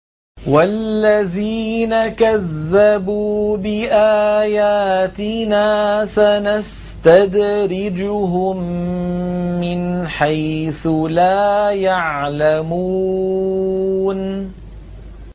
وَالَّذِينَ كَذَّبُوا بِآيَاتِنَا سَنَسْتَدْرِجُهُم مِّنْ حَيْثُ لَا يَعْلَمُونَ